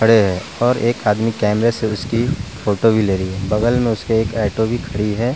और एक आदमी कैमरे से उसकी फोटो भी ले रही है बगल में उसके एक ऐंटो भी खड़ी है।